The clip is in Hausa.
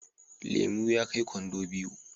Lemu ya kai kwando biyu